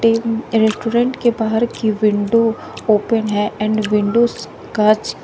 restaurant के बाहर की विंडो ओपन है एंड विंडोस कांच--